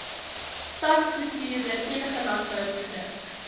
stadsbestuurder enige landbouproduk